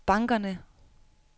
bankerne